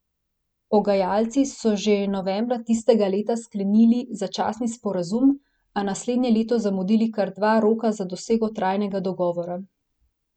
Pogajalci so že novembra tistega leta sklenili začasni sporazum, a naslednje leto zamudili kar dva roka za dosego trajnega dogovora.